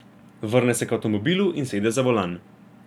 Vrne se k avtomobilu in sede za volan.